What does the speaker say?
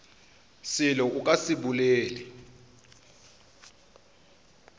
selo a ka se bolele